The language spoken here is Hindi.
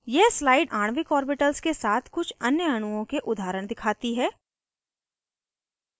यह स्लाइड आणविक ऑर्बिटल्स के साथ कुछ अन्य अणुओं के उदाहरण दिखाती है